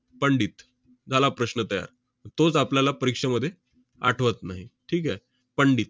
पंडित. झाला प्रश्न तयार. तोच आपल्याला परीक्षेमध्ये आठवत नाही. ठीक आहे? पंडित